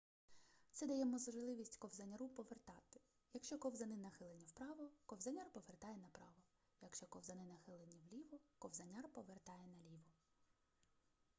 це дає можливість ковзаняру повертати якщо ковзани нахилені вправо ковзаняр повертає направо якщо ковзани нахилені вліво ковзаняр повертає наліво